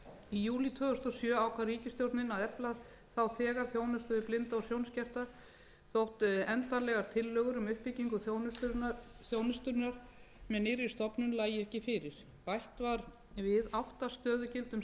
í júní tvö þúsund og sjö ákvað ríkisstjórnin að efla þá þegar þjónustu við blinda og sjónskerta þótt endanlegar tillögur um uppbyggingu þjónustunnar með nýrri stofnun lægju ekki fyrir bætt var við átta stöðugildum